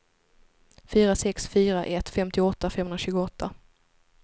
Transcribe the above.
fyra sex fyra ett femtioåtta femhundratjugoåtta